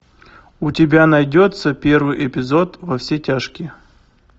у тебя найдется первый эпизод во все тяжкие